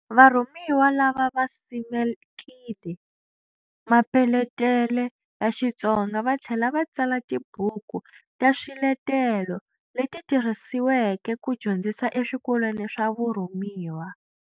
Varhumiwa lava va simekile mapeletele ya Xitsonga va thlela va tsala tibuku ta swiletelo leti tirhisiweke ku dyondzisa eswikolweni swa vurhumiwa.